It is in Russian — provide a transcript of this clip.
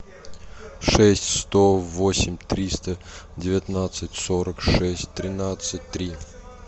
шесть сто восемь триста девятнадцать сорок шесть тринадцать три